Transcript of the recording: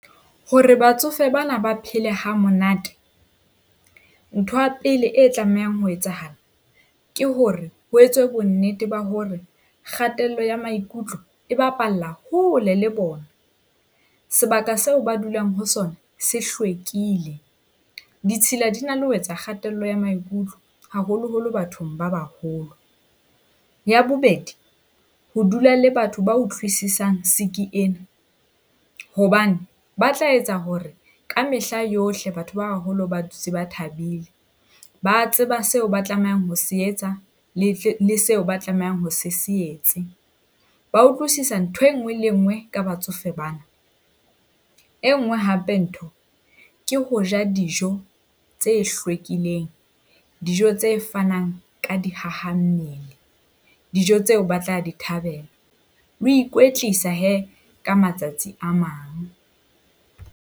Hore batsofe bana ba phele hamonate, ntho ya pele e tlamehang ho etsahala ke hore ho etswe bonnete ba hore kgatello ya maikutlo e bapalla hole le bona. Sebaka seo ba dulang ho sona se hlwekile. Ditshila di na le ho etsa kgatello ya maikutlo haholoholo bathong ba baholo. Ya bobedi, ho dula le batho ba utlwisisang siki ena, hobane ba tla etsa hore ka mehla yohle batho ba baholo ba dutse ba thabile. Ba tseba seo ba tlamehang ho se etsa, le seo ba tlamehang ho se se etse. Ba utlwisisa ntho e nngwe le e nngwe ka batsofe bana. E nngwe hape ntho ke ho ja dijo tse hlwekileng, dijo tse fanang ka dihahammele, dijo tseo ba tla di thabela. Le ho ikwetlisa hee ka matsatsi a mang.